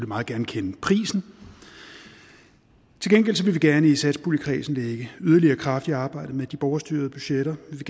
meget gerne kende prisen til gengæld vil vi gerne i satspuljekredsen lægge yderligere kraft i arbejdet med de borgerstyrede budgetter vi